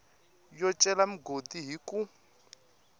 yo cela migodi hi ku